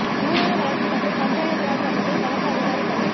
ஊரக வளர்ச்சி மற்றும் பஞ்சாயத்து ராஜ் அமைப்பில் கணக்கு அதிகாரி பணி